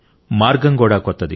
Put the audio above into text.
మార్గం కూడా కొత్తది